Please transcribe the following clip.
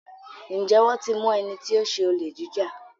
Njé wón tí mú ẹní tí o ṣe Olè jíjà.